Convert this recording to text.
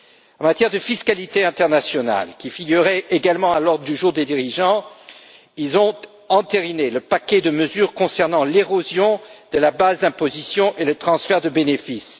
En matière de fiscalité internationale, qui figurait également à l'ordre du jour des dirigeants, ceux ci ont entériné le paquet de mesures concernant l'érosion de la base d'imposition et les transferts de bénéfices.